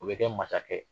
O bɛ kɛ masakɛ ye